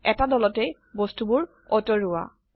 এটা দলতে বস্তুবোৰ অতৰুৱা